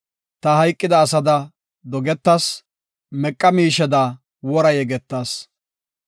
Ta hayqida asada dogetas; meqa miisheda wora yegetas.